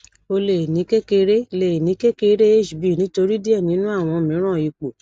o le ni kekere le ni kekere hb nitori diẹ ninu awọn miiran ipo